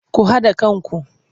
Ku haɗa kanku!